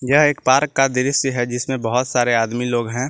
यह एक पार्क का दृश्य है जिसमें बहुत सारे आदमी लोग हैं।